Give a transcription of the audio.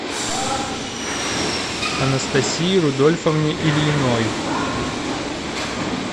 анастасии рудольфовне ильиной